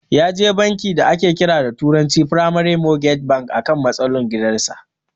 Yaje bankin da ake kira da turanci "primary mortgage banks" akan matsalar gidan sa.